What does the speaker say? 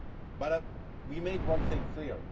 But we made one thing clear.